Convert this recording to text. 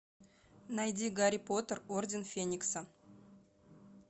найди гарри поттер орден феникса